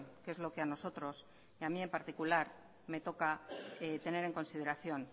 que es lo que a nosotros y a mí en particular me toca tener en consideración